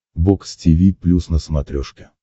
бокс тиви плюс на смотрешке